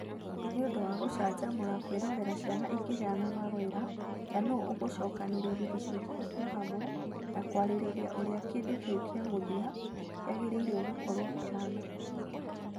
Nĩ ũndũ wa gũcanjamũra kwĩrorera ciana ikĩheana mawĩra ta nũũ ũgũcookanĩrĩria icunjĩ icio hamwe na kwarĩrĩria ũrĩa kĩndũ kĩu kĩamũthia kĩagĩrĩirũo gũkorũo kĩhaana.